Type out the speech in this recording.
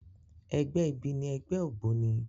Ègbè ibi ni ègbè ógbóni